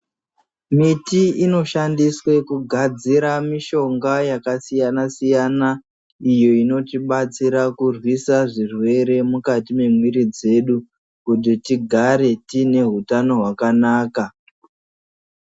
Miti inoshandiswa kugadzira mishonga iyi inotibatsira kurwisa zvirwere mukati memwiri dzedu kuti tigare tine hutano hwakanaka.